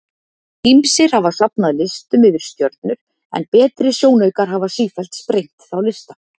Ýmsir hafa safnað listum yfir stjörnur en betri sjónaukar hafa sífellt sprengt þá lista.